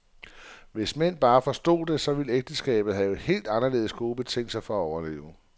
Hvis mænd bare forstod det, så ville ægteskabet have helt anderledes gode betingelser for at overleve.